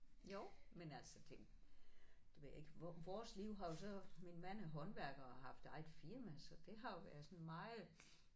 Jo men altså det det ved jeg ikke vores liv har jo så min mand er håndværker og har haft eget firma så det har jo været sådan meget